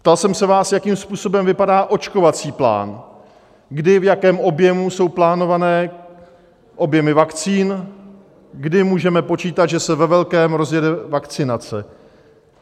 Ptal jsem se vás, jakým způsobem vypadá očkovací plán, kdy, v jakém objemu jsou plánované objemy vakcín, kdy můžeme počítat, že se ve velkém rozjede vakcinace.